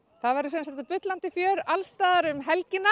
það verður bullandi fjör allstaðar um helgina